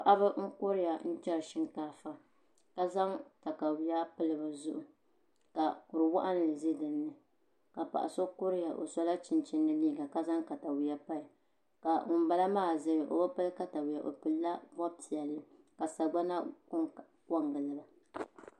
paɣiba n-kuriya n-chari shinkaafa ka zaŋ takayua pili bɛ zuɣu ka kur' waɣinli za di ni ka paɣa so kuriya o sɔla chinchini ni liiga ka zaŋ takayua pili ka ŋumbala zaya o bi pili takayua o pilila bɔb' piɛlli ka sagbana ko n-gili ba